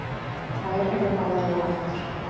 Þær eru báðar látnar.